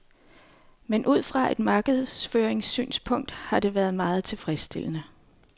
Men ud fra et markedsføringssynspunkt har det været meget tilfredsstillende.